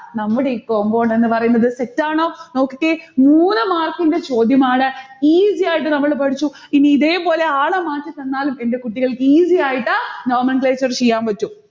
നമ്മുടെ ഈ compound എന്ന് പറയുന്നത് തെറ്റാണോ? നോക്കിക്കേ, മൂന്നു mark ന്റെ ചോദ്യമാണ്. easy ആയിട്ട് നമ്മൾ പഠിച്ചു. ഇനി ഇതേപോലെ ആളെ മാറ്റിത്തന്നാലും എന്റെ കുട്ടികൾക്ക് easy ആയിട്ട് nomenclature ചെയ്യാൻ പറ്റും.